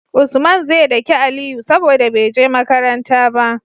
Usman ze daki aliyu saboda beje makaranta ba